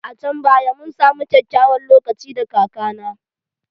A can baya mun samu kyakkyawan lokaci da kaka na